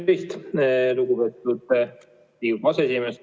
Tervist, lugupeetud Riigikogu aseesimees!